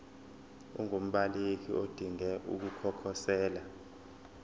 ungumbaleki odinge ukukhosela